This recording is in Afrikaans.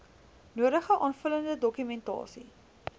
nodige aanvullende dokumentasie